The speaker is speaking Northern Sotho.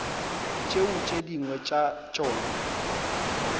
tšeo tše dingwe tša tšona